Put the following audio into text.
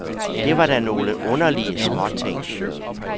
Det var da nogle underlige småting.